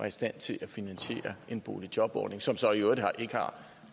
i stand til at finansiere en boligjobordning som så i øvrigt ikke har